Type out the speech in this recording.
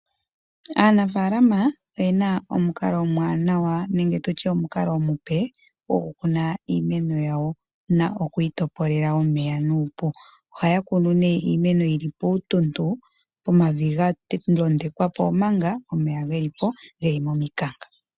Aanafalama oyena omukalo omuwanawa nenge tutye omukalo omupe goku kuna iimeno yawo nokuyi topolela omeya nuupu. Ohaya kunu iimeno yili puutuntu omavi ga londekwa po omanga omeya geli momikanka.